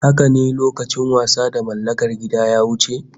Haka ne, lokacin wasa da mallakar gida ya wuce